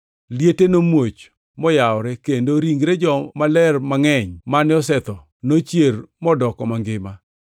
Liete nomuoch moyawore kendo ringre jomaler mangʼeny mane osetho nochier modoko mangima.